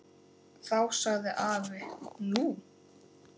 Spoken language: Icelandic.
Þá sagði afi: Nú?